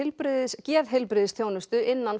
geðheilbrigðisþjónustu innan